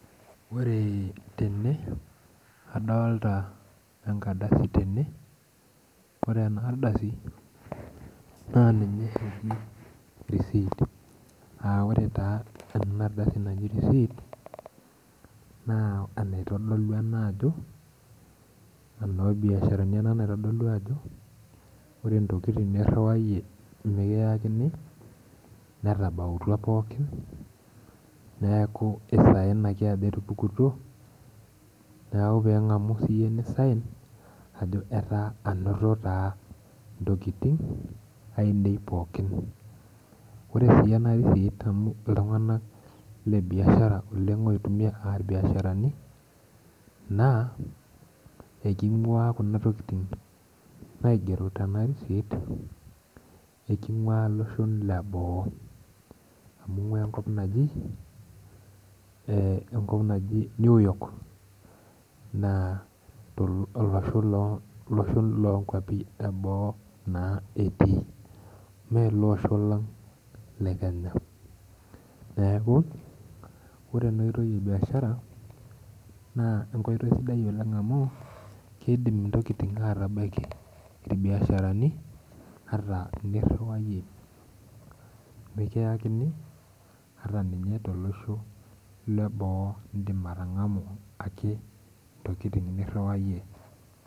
Ore tene adolita enkrdasi tenebore enardasi na ninye eji risit aa ore enardasi naji risit na enaitodoku ena ajo ore ntokitin niriwayie mikiyakini netabawua pooki neaku mpisai etupukutuo neaku pilaku nisihn ajo ainoto taa ntokitin ainei, ore si enarist amu ltunganak le biashara oitumia aa irbiasharani na kingua kuna tokitin naigero tenarisit enkop eboo amu ingua enkop naji newyork na olosho lonkwapi eboo etii me ele osho lang le kenya neaku ore enoitoi e biashara na enkoitoi sidai oleng amu kidim ntokitin atabaki irbiasharani teniriwaa mikiyakini ata nye tolosho le boo indim atangamu ake ntokitin niriwayie.